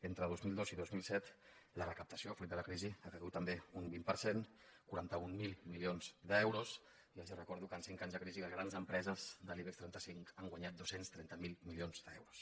entre dos mil dos i dos mil set la recaptació fruit de la crisi ha caigut també un vint per cent quaranta mil milions d’euros i els recordo que en cinc anys de crisi les grans empreses de l’ibex trenta cinc han guanyat dos cents i trenta miler milions d’euros